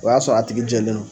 O y'a sɔrɔ a tigi jɛlen